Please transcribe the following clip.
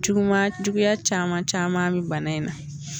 Juguma juguya caman caman mɛ bana in na.